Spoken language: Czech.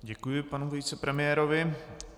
Děkuji panu vicepremiérovi.